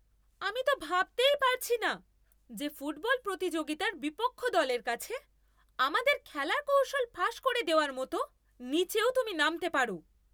আমি তো ভাবতেই পারছি না যে ফুটবল প্রতিযোগিতার বিপক্ষ দলের কাছে আমাদের খেলার কৌশল ফাঁস করে দেওয়ার মতো নীচেও তুমি নামতে পারো!